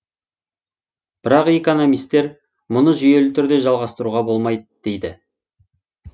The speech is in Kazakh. бірақ экономистер мұны жүйелі түрде жалғастыруға болмайды дейді